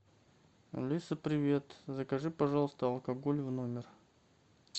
алиса привет закажи пожалуйста алкоголь в номер